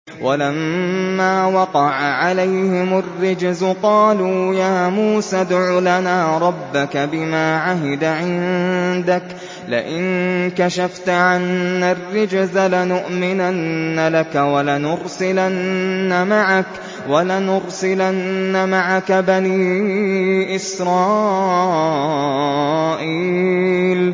وَلَمَّا وَقَعَ عَلَيْهِمُ الرِّجْزُ قَالُوا يَا مُوسَى ادْعُ لَنَا رَبَّكَ بِمَا عَهِدَ عِندَكَ ۖ لَئِن كَشَفْتَ عَنَّا الرِّجْزَ لَنُؤْمِنَنَّ لَكَ وَلَنُرْسِلَنَّ مَعَكَ بَنِي إِسْرَائِيلَ